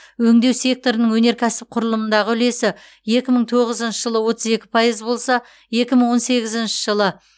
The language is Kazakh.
өңдеу секторының өнеркәсіп құрылымындағы үлесі екі мың тоғызыншы жылы отыз екі пайыз болса екі мың он сегізінші жылы